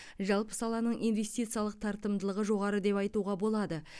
жалпы саланың инвестициялық тартымдылығы жоғары деп айтуға болады